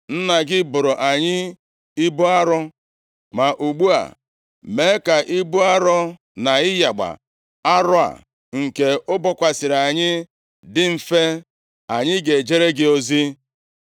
“Nna gị boro anyị ibu arọ, ma ugbu a mee ka ibu arọ na ịyagba arọ a nke o bokwasịrị anyị, dị mfe, anyị ga-ejere gị ozi.”